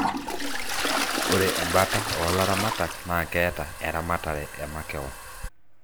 ore embata oo laramtak naa keeta eramatare emakewon.